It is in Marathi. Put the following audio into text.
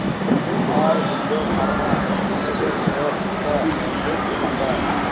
ऑरबिंदो फार्मा लिमिटेड शेअर्स चा इंडेक्स सांगा